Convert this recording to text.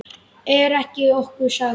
Er okkur sagt.